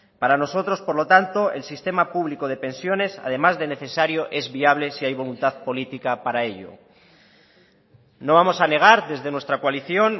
para nosotros por lo tanto el sistema público de pensiones además de necesario es viable si hay voluntad política para ello no vamos a negar desde nuestra coalición